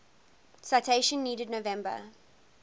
citation needed november